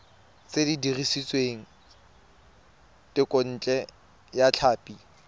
se dirisitswe thekontle ya tlhapi